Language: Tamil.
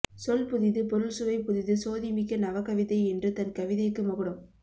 சொல் புதிது பொருள் சுவை புதிது சோதிமிக்க நவகவிதை என்று தன் கவிதைக்கு மகுடம்